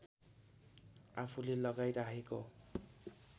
आफूले लगाई राखेको